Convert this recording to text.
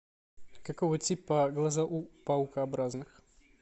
какого типа глаза у паукообразных